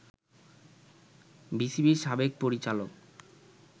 বিসিবির সাবেক পরিচালক